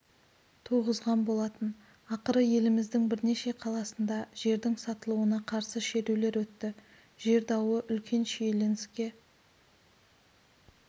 туғызған болатын ақыры еліміздің бірнеше қаласында жердің сатылуына қарсы шерулер өтті жер дауы үлкен шиеленіске